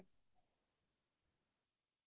হয় হয়